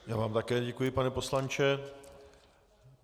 Já vám také děkuji, pane poslanče.